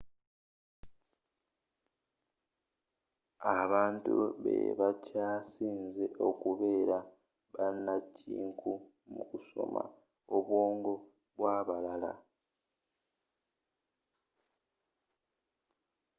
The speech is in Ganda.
abantu be bakyasize okubeera bannakinku mu kusoma obwongo bw'abalala